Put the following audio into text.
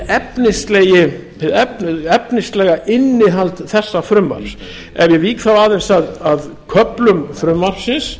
eru svona hið efnislega innihald þessa frumvarps ef ég vík þá aðeins að köflum frumvarpsins